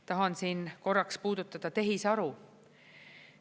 Tahan siin korraks puudutada tehisaru.